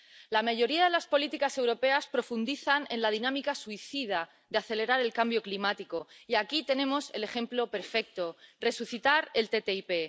La mayoría de las políticas europeas profundizan en la dinámica suicida de acelerar el cambio climático, y aquí tenemos el ejemplo perfecto resucitar el TTIP.